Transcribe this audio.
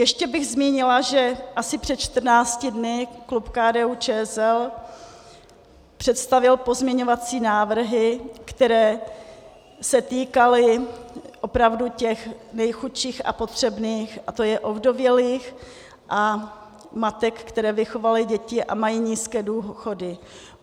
Ještě bych zmínila, že asi před 14 dny klub KDU-ČSL představil pozměňovací návrhy, které se týkaly opravdu těch nejchudších a potřebných, a to je ovdovělých a matek, které vychovaly děti a mají nízké důchody.